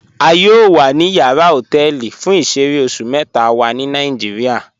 A yọọ wa ni yàrà họtẹlì fún ìṣẹ̀rẹ̀ oṣù mẹta wa ni Nàìjíríà.